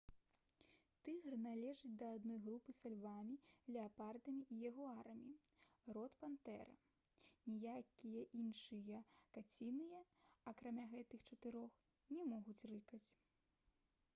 тыгр належыць да адной групы са львамі леапардамі і ягуарамі род пантэра. ніякія іншыя каціныя акрамя гэтых чатырох не могуць рыкаць